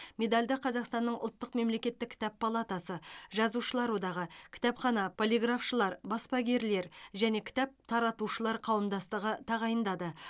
медальді қазақстанның ұлттық мемлекеттік кітап палатасы жазушылар одағы кітапхана полиграфшылар баспагерлер және кітап таратушылар қауымдастығы тағайындады